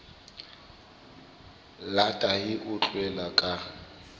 la tahi o utlwela ka